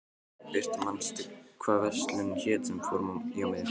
Birtir, manstu hvað verslunin hét sem við fórum í á miðvikudaginn?